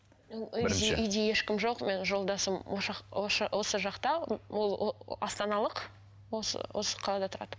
үйде ешкім жоқ менің жолдасым осы жақта ол астаналық осы осы қалада тұрады